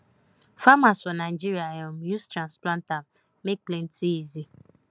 farmers for nigeria um use transplanter make planting easy